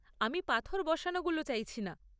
আমি পাথর বসানোগুলো চাইছি না।